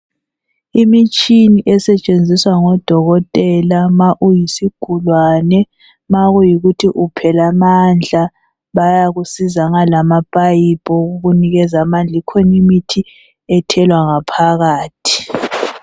Imitshini esetshenziswa ngodokotela ma uyisigulane, makuyikuthi uphela amandla, bayakusiza ngalama payipi okukunikeza amandla. Ikhonimithi ethelwa ngaphakathi.